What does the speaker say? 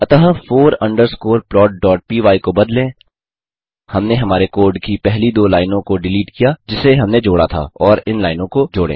अतः four underscore plotपाय को बदलें हमने हमारे कोड की पहली दो लाइनों को डिलीट किया जिसे हमने जोड़ा था और इन लाइनों को जोड़ें